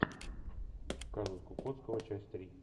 казус кукоцкого часть три